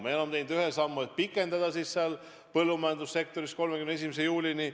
Me oleme pikendanud põllumajandussektoris töötamise luba 31. juulini.